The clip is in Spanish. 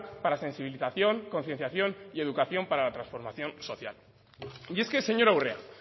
para sensibilización concienciación y educación para la transformación social y es que señora urrea